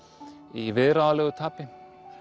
í viðráðanlegu tapi